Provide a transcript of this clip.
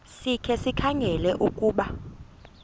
sikhe sikhangele ukuba